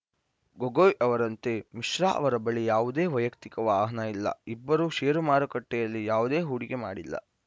ಗೊಗೊಯ್‌ ಅವರಂತೆ ಮಿಶ್ರಾ ಅವರ ಬಳಿ ಯಾವುದೇ ವೈಯಕ್ತಿಕ ವಾಹನ ಇಲ್ಲ ಇಬ್ಬರೂ ಷೇರು ಮಾರುಕಟ್ಟೆಯಲ್ಲಿ ಯಾವುದೇ ಹೂಡಿಕೆ ಮಾಡಿಲ್ಲ